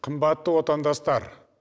қымбатты отандастар